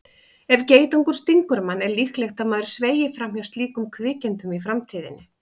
Ef geitungur stingur mann er líklegt að maður sveigi fram hjá slíkum kvikindum í framtíðinni.